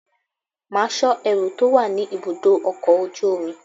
Máa sọ ẹrú tó wà ní ibùdó ọkọ̀ ojú omi!